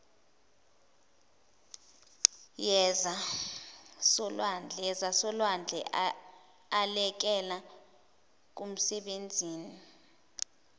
yezasolwandle elekela kumsebenzini